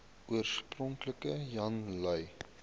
oorspronklik jan lui